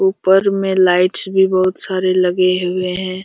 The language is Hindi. ऊपर में लाइट्स भी बहुत सारे लगे हुए हैं।